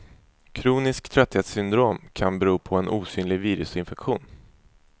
Kroniskt trötthetssyndrom kan bero på en osynlig virusinfektion.